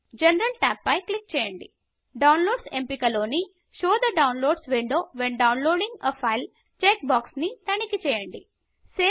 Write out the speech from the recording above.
general tab పై click చేయండి downloads downloads ఎంపిక లోని show the downloads window when downloading a file show the downloads window when downloading a file check box ని తనిఖి చేయండి